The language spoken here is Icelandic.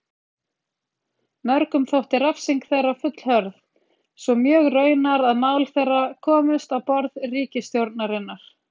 Mörgum þótti refsing þeirra fullhörð, svo mjög raunar að mál þeirra komust á borð ríkisstjórnarinnar.